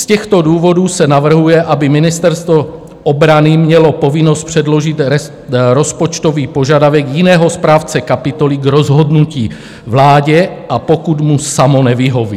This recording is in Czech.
Z těchto důvodů se navrhuje, aby Ministerstvo obrany mělo povinnost předložit rozpočtový požadavek jiného správce kapitoly k rozhodnutí vládě, a pokud mu samo nevyhoví.